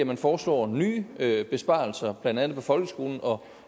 man foreslår nye besparelser blandt andet på folkeskolen og